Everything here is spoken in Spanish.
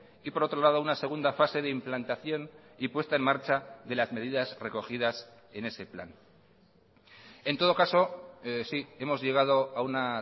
y por otro lado una segunda fase de implantación y puesta en marcha de las medidas recogidas en ese plan en todo caso sí hemos llegado a una